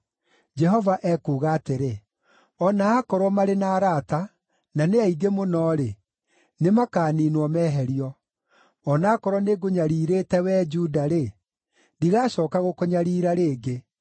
Jehova ekuuga atĩrĩ: “O na aakorwo marĩ na arata, na nĩ aingĩ mũno-rĩ, nĩmakaniinwo, meherio. O na aakorwo nĩngũnyariirĩte, wee Juda-rĩ, ndigacooka gũkũnyariira rĩngĩ.